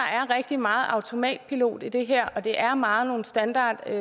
rigtig meget automatpilot i det her og det er meget nogle standardsvar